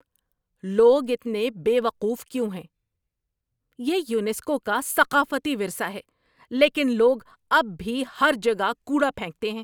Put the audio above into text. لوگ اتنے بے وقوف کیوں ہیں؟ یہ یونیسکو کا ثقافتی ورثہ ہے لیکن لوگ اب بھی ہر جگہ کوڑا پھینکتے ہیں۔